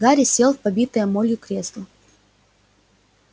гарри сел в побитое молью кресло